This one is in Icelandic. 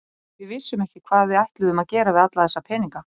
Við vissum ekki hvað við ætluðum að gera við alla þessa peninga.